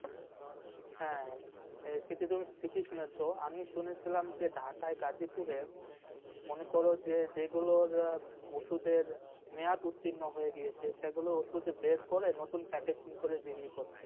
হ্যাঁ সেটা তুমি ঠিকই শুনেছো, আমি শুনেছিলাম যে ঢাকায় গাজীপুরে মনে কর যে যেগুলোর ওষুধের মেয়াদ উত্তীর্ণ হয়ে গেছে সেগুলো শুধু বের করে নতুন packaging করে বিক্রি করছে।